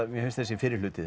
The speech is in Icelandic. mér finnst þessi fyrri hluti